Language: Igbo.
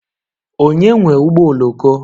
Onye nwe ụgbọ oloko?